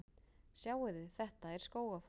Sjáiði! Þetta er Skógafoss.